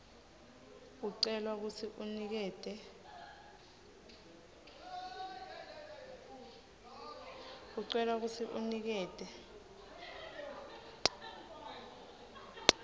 ucelwa kutsi unikete